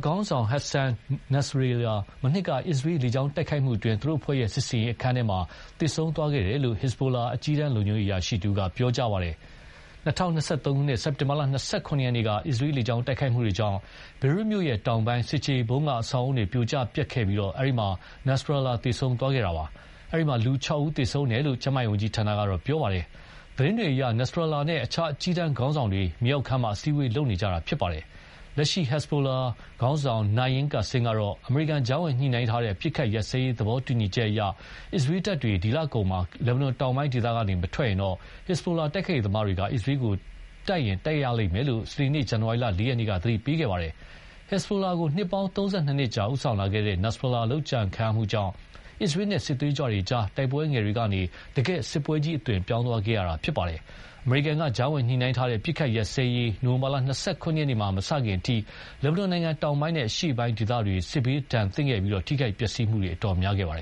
ခေါင်းဆောင် Hassan Nasrallah ဟာ မနှစ်က အစ္စရေး လေကြောင်းတိုက်ခိုက်မှုအတွင်း သူတို့အဖွဲ့ရဲ့ စစ်ဆင်ရေးအခန်းထဲမှာ သေဆုံးသွားခဲ့တယ်လို့ ဟစ်ဇ်ဘိုလာ အကြီးတန်းလုံခြုံရေးအရာရှိတဦးက ပြောကြားသွားပါတယ်။ ၂၀၂၃ ခုနှစ် စက်တင်ဘာ ၂၇ ရက်နေ့က အစ္စရေးလေကြောင်းတိုက်ခိုက်မှုတွေကြောင့် ဘေရွတ်မြို့ တောင်ပိုင်း ဆင်ခြေဖုံးက အဆောက်အအုံတွေ ပြိုပျက်ကျခဲ့ပြီး အဲဒီမှာ Nasrallah သေဆုံးသွားခဲ့တာပါ။ အဲဒီမှာ လူ ၆ ဦး သေဆုံးသွားတယ်လို့ ကျန်းမာရေးဝန်ကြီးဌာနက ပြောပါတယ်။ သတင်းတွေအရ Nasrallah နဲ့ တခြားအကြီးတန်းခေါင်းဆောင်တွေ မြေအောက်ခန်းမှာ အစည်းအဝေးလုပ်နေကြတာ ဖြစ်ပါတယ်။ လက်ရှိ Hezbollah ဟစ်ဇ်ဘိုလာခေါင်းဆောင် Naim Kassem ကတော့ အမေရိကန်ကြားဝင်ညှိနှိုင်းထားတဲ့ အပစ်အခတ်ရပ်စဲရေး သဘောတူညီချက်အရ အစ္စရေးတပ်တွေ လကုန်မှာ လက်ဘနွန် တောင်ပိုင်းဒေသက မထွက်သွားရင် ဟစ်ဇ်ဘိုလာ တိုက်ခိုက်ရေးသမားတွေက အစ္စရေးကို တိုက်ရင်တိုက်မယ်လို့ စနေနေ့ ဇန်နဝါရီ ၄ ရက်နေ့က သတိပေးသွားပါတယ်။ ဟစ်ဇ်ဘိုလာကို နှစ်ပေါင်း ၃၂ နှစ်ကြာ ဦးဆောင်လာခဲ့တဲ့ Nasrallah လုပ်ကြံခံရမှုကြောင့် အစ္စရေးနဲ့ စစ်သွေးကြွတွေကြား တိုက်ပွဲငယ်တွေကနေ တကယ့်စစ်ပွဲကြီးအသွင် ပြောင်းသွားခဲ့ရတာ ဖြစ်ပါတယ်။ အမေရိကန်က ကြားဝင်ညှိနှိုင်းထားတဲ့ အပစ်အခတ်ရပ်စဲရေး နိုဝင်ဘာ ၂၇ ရက်နေ့မှာ မစခင်အထိ လက်ဘနွန်နိုင်ငံ တောင်ပိုင်းနဲ့ အရှေ့ပိုင်း ဒေသတွေ စစ်ဒဏ်သင့်ခဲ့ပြီး ထိခိုက်ပျက်စီးမှု များခဲ့ပါတယ